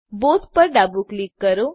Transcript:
Bothપર ડાબું ક્લિક કરો